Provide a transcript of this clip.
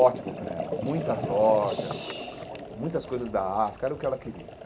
Ótimo para ela, muitas lojas, muitas coisas da África, era o que ela queria.